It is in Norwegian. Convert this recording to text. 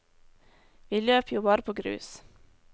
Vi løp jo bare på grus.